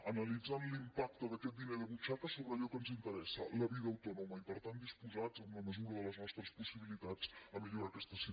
analitzant l’impacte d’aquest diner de butxaca sobre allò que ens interessa la vida autònoma i per tant disposats en la mesura de les nostres possibilitats a millorar aquesta situació